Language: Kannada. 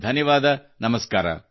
ಧನ್ಯವಾದ ನಮಸ್ಕಾರ